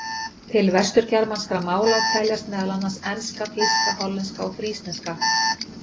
Til vesturgermanskra mála teljast meðal annars enska, þýska, hollenska og frísneska.